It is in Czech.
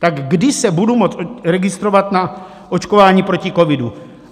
Tak kdy se budu moct registrovat na očkování proti covidu?